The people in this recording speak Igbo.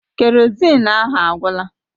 Kerozin ahụ agwụla.